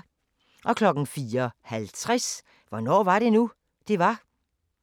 04:50: Hvornår var det nu, det var?